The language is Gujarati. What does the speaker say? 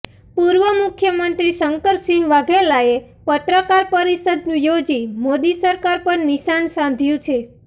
પૂર્વ મુખ્યમંત્રી શંકરસિંહ વાઘેલાએ પત્રકાર પરિષદ યોજી મોદી સરકાર પર નિશાન સાધ્યું છે